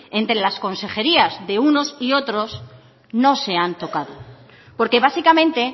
entre las consejerías de unos y otros no se han tocado porque básicamente